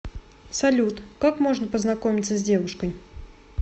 салют как можно познакомиться с девушкой